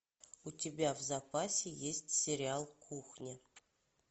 у тебя в запасе есть сериал кухня